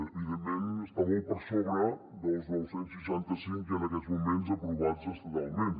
evidentment està molt per sobre dels nou cents i seixanta cinc en aquests moments aprovats estatalment